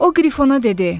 O qrifona dedi: